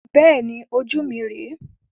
Bẹ́ẹ̀ni, ojú mi rẹ.